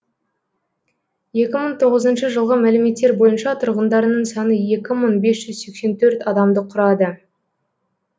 екі мың тоғызыншы жылғы мәліметтер бойынша тұрғындарының саны екі мың бес жүз сексен төрт адамды құрады